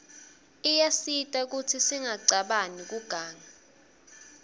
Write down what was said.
iyasita kutsi singacabani kuganga